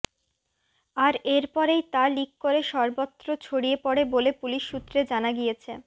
আর এরপরেই তা লিক করে সর্বত্র ছড়িয়ে পড়ে বলে পুলিশ সূত্রে জানা গিয়েছে